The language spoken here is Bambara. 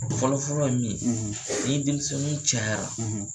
Fɔlɔ fɔlɔ ye min ye , ni denmisɛnwnin cayara